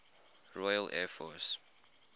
royal air force